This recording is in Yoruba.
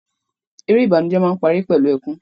Eré ìbànújẹ máa n pari pẹlu ẹkùn.